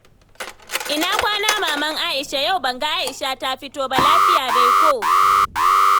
Ina kwana Maman Aisha. Yau ban ga Aisha ta fito ba, lafiya dai ko?